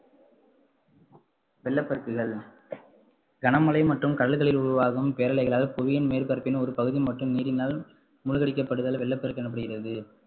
வெள்ளப்பெருக்குகள் கனமழை மற்றும் கடல்களில் உருவாகும் பேரலைகளால் புவியின் மேற்பரப்பின் ஒரு பகுதி மட்டும் நீரினால் மூழ்கடிக்கப்படுதல் வெள்ளப்பெருக்கு எனப்படுகிறது